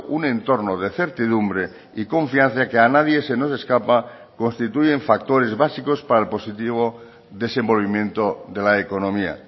un entorno de certidumbre y confianza que a nadie se nos escapa constituyen factores básicos para el positivo desenvolvimiento de la economía